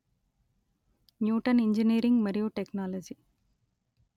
Newton engineering మరియు technology